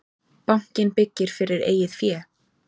Bankinn byggir fyrir eigið fé